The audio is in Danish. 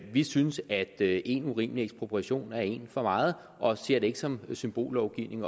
vi synes at én urimelig ekspropriation er én for meget og vi ser det ikke som symbollovgivning